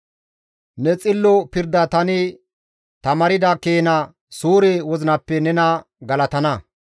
Ne xillo pirda tani tamaarda keena suure wozinappe nena galatana.